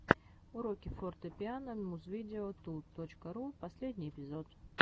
уроки фортепиано музвидео ту точка ру последний эпизод